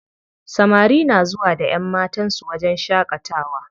Samari na zuwa da ƴanmatan su wajen shaƙatawa.